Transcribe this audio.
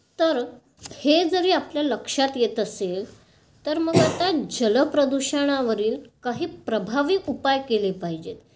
तर हे जरी आपल्या लक्षात येत असेल तर मग आता जल प्रदूषणावरील काही प्रभावी उपाय केले पाहिजेत.